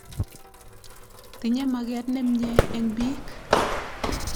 Tinye maket nemye eng' piik.